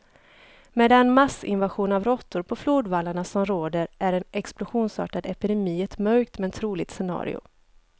Med den massinvasion av råttor på flodvallarna som råder är en explosionsartad epidemi ett mörkt, men troligt scenario.